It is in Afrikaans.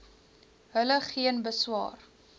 hulle geen beswaar